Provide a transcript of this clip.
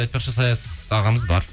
айтпақшы саят ағамыз бар